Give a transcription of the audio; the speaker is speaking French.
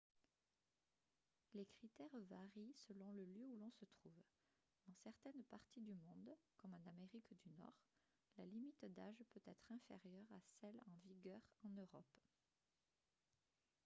les critères varient selon le lieu où l'on se trouve dans certaines parties du monde comme en amérique du nord la limite d'âge peut être inférieure à celle en vigueur en europe